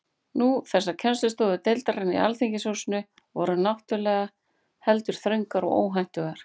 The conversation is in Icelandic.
Nú,- þessar kennslustofur deildarinnar í Alþingishúsinu voru náttúrulega heldur þröngar og óhentugar.